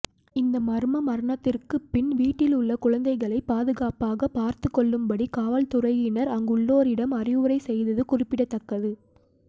இந்த மர்ம மரணத்திற்கு பின் வீட்டில் உள்ள குழந்தைகளை பாதுகாப்பாக பார்த்து கொள்ளும்படி காவல்துறையினர் அங்குள்ளோரிடம் அறிவுரை செய்தது குறிப்பிடத்தக்கது